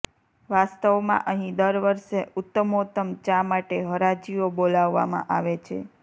વાસ્તવમાં અહીં દર વર્ષે ઉત્તમોત્તમ ચા માટે હરાજીઓ બોલાવવામાં આવે છે